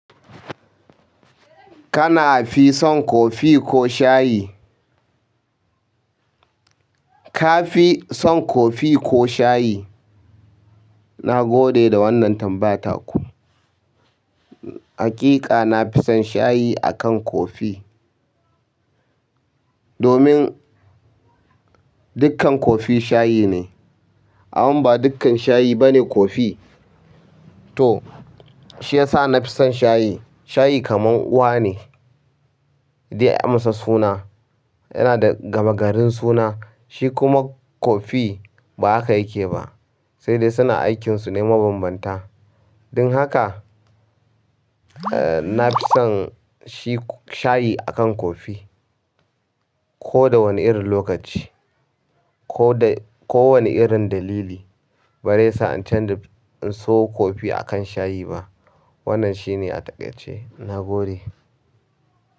Kana fi son kofi ko shayi? Ka fi son kofi ko shayi? Na gode da wannan tambaya taku. Haƙiƙa na fi son shayi akan kofi. Domin dukkan kofi shayi ne, amma ba dukkan shayi bane kofi. To shi ya sa na fi son shayi. Shayi kaman uwa ne da ya amsa suna, yana da gama garin suna, shi kuma kofi ba haka yake ba, sai dai suna aikinsu ne mabambanta. Don haka, eh na fi son shi shayi akan kofi. Ko da wane irin lokaci ko da kowane irin dalili bars sa'ancan da in so kofi akan shayi ba. Wannan shi ne a takaice. Na gode.